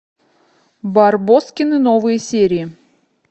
барбоскины новые серии